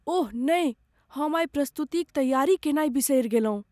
ओह नहि! हम आइ प्रस्तुतिक तैयारी कयनाय बिसरि गेलहुँ।